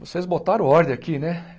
Vocês botaram ordem aqui, né?